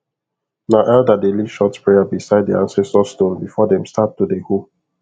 na elder dey lead short prayer beside the ancestor stone before them start to dey hoe